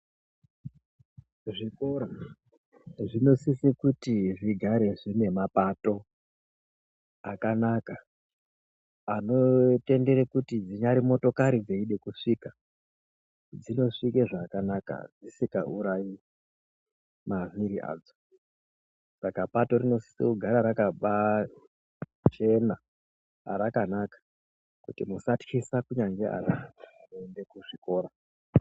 Muzvikora ,zvinosise kuti zvigare zviinema bato akanaka anotendere kuti gwinya remotokari risvike, dzinosvike zvakanaka risingawurayi mavhiri adzo. Saka bato rinosise kugara rakachena, rakanaka kuti musatyise kunyanya kune anoenda kuzvikora.